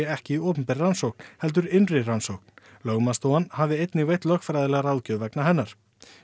ekki opinber rannsókn heldur innri rannsókn lögmannsstofan hafi einnig veitt lögfræðilega ráðgjöf vegna hennar